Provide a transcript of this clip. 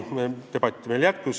Debatt jätkus.